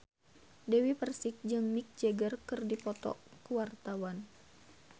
Dewi Persik jeung Mick Jagger keur dipoto ku wartawan